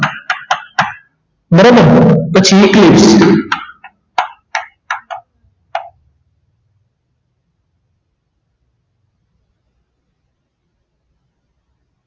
બરાબર પછી